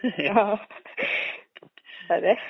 ആഹ് അതെ.